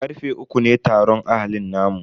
Karfe uku ne taron ahalin namu.